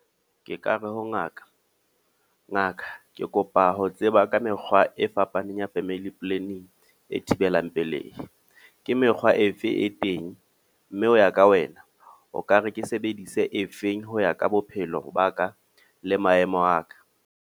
Ke ka re ho ngaka. Ngaka, ke kopa ho tseba ka mekgwa e fapaneng ya Family Planning, e thibelang pelehi. Ke mekgwa efe e teng? Mme ho ya ka wena, o ka re ke sebedise efeng ho ya ka bophelo ba ka le maemo a ka.